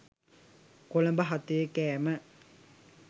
කොළඹ හතේ කෑම.